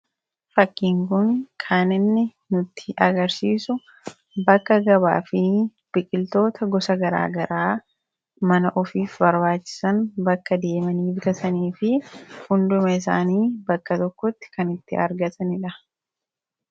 Fakkiin kun kan inni nutti agarsiisu bakka gabaa fi biqiltoota gosa garaagaraa mana ofiif barbaachisan bakka deemanii bitatanii fi hunduma isaanii bakka tokkotti kan itti argatanidha.